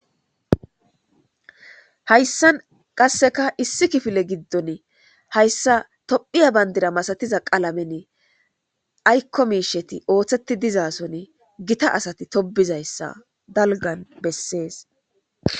Haysan qaseka issi kifile gidon tophiya Bandra masatiza qalamen ayko mishet oothet dizason Gita asat tobizaysa dalgan beses.